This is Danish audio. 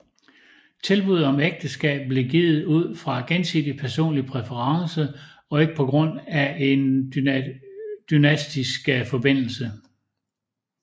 Tilbuddet om ægteskab blev givet ud fra gensidig personlig præference og ikke på grund af en dynastisk forbindelse